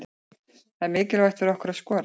Það er mikilvægt fyrir okkur að skora.